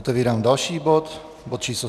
Otevírám další bod, bod číslo